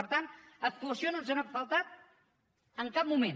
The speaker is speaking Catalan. per tant actuació no ens n’ha faltat en cap moment